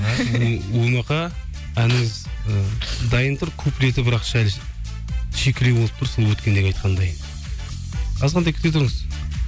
өмақа әніңіз і дайын тұр куплеті бірақ сәл шикілеу болып тұр сол өткендегі айтқандай азғантай күте тұрыңыз